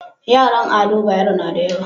Yaran ado bayero nada yawa